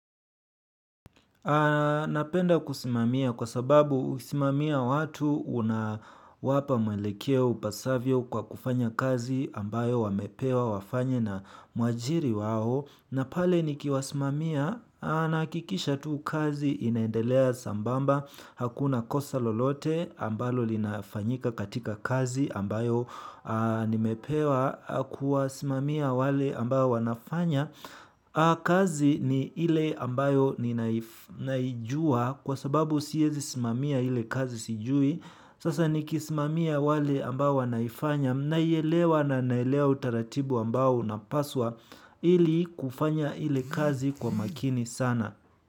Napenda kusimamia, kwa sababu kusimamia watu, unawapa mwelekeo upasavyo kwa kufanya kazi ambayo wamepewa wafanye na mwajiri wao. Napale ni kiwasimamia na hakikisha tu kazi inaendelea sambamba hakuna kosa lolote ambalo linafanyika katika kazi ambayo nimepewa kuwasimamia wale ambao wanafanya. Kazi ni ile ambayo ninaijua kwa sababu siezi simamia ile kazi sijui. Sasa nikisimamia wale ambao wanaifanya naielewa na naelewa utaratibu ambao unapaswa ili kufanya ile kazi kwa makini sana.